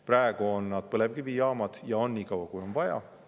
Praegu on nad põlevkivijaamad ja on nii kaua, kui on vaja.